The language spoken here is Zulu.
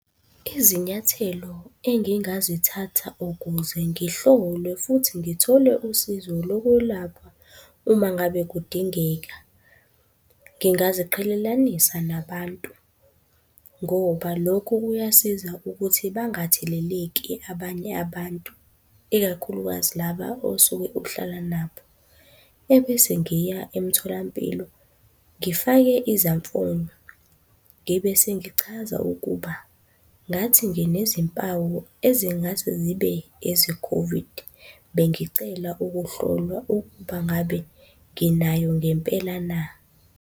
Izinyathelo engingazithatha ukuze ngihlolwe futhi ngithole usizo lokwelaphwa uma ngabe kudingeka. Ngingaziqhelelanisa nabantu ngoba lokho kuyasiza ukuthi bangatheleleki abanye abantu, ikakhulukazi laba osuke uhlala nabo, ebese ngiya emtholampilo ngifake izamfonyo, ngibe sengichaza ukuba, ngathi nginezimpawu ezingase zibe eze-COVID. Bengicela ukuhlolwa ukuba ngabe nginayo ngempela na?